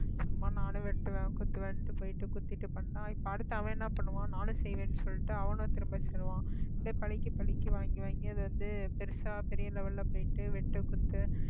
சும்மா நானும் வெட்டுவேன் குத்துவேன்ட்டு போயிட்டு குத்திட்டு பண்ணான் இப்ப அடுத்து அவன் என்ன பண்ணுவான் நானும் செய்வேன்னு சொல்லிட்டு அவனும் திரும்ப சொல்லுவான் பழிக்கு பழிக்கு வாங்கி வாங்கி அது வந்து பெருசா பெரிய level ல போயிட்டு வெட்டு குத்து